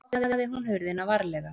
Loks opnaði hún hurðina varlega.